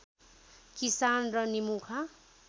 किसान र निमुखा